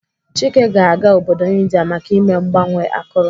Chike ga-aga obodo India maka ime mgbanwe akụrụ.